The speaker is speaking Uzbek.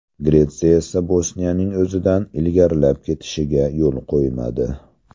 Gretsiya esa Bosniyaning o‘zidan ilgarilab ketishiga yo‘l qo‘ymadi.